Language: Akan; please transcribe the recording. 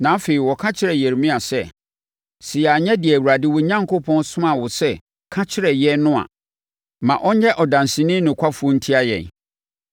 Na afei, wɔka kyerɛɛ Yeremia sɛ, “Sɛ yɛanyɛ deɛ Awurade wo Onyankopɔn soma wo sɛ ka kyerɛ yɛn no a, ma ɔnyɛ ɔdanseni nokwafoɔ ntia yɛn.